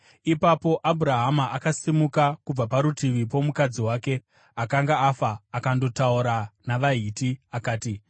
Ipapo Abhurahama akasimuka kubva parutivi pomukadzi wake akanga afa akandotaura navaHiti, akati,